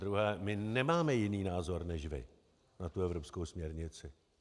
Zadruhé, my nemáme jiný názor než vy na tu evropskou směrnici.